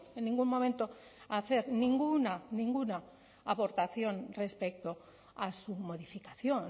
en ningún momento hacer ninguna ninguna aportación respecto a su modificación